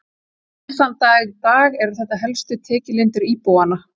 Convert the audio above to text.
enn þann dag í dag eru þetta helstu tekjulindir íbúanna